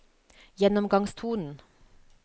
gjennomgangstonen